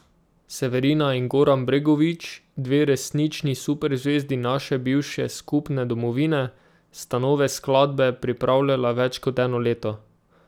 Severina in Goran Bregović, dve resnični super zvezdi naše bivše skupne domovine, sta nove skladbe pripravljala več kot eno leto.